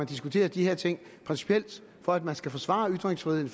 diskuterer de her ting principielt for at man skal forsvare ytringsfriheden